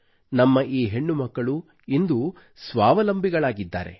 ನಮ್ಮ ಈ ಹೆಣ್ಣುಮಕ್ಕಳು ಇಂದು ಸ್ವಾವಲಂಬಿಗಳಾಗಿದ್ದಾರೆ